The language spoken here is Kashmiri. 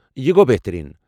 یہِ گوٚو بہترین ۔